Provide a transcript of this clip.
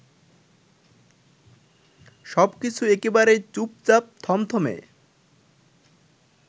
সবকিছু একেবারেই চুপচাপ, থমথমে।